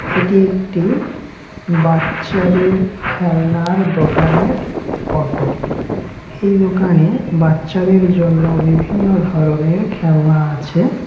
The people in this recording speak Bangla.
এটি একটি বাচ্চাদের খেলনার দোকানের ফটো । এই দোকানে বাচ্চাদের জন্য বিভিন্ন ধরনের খেলা আছে ।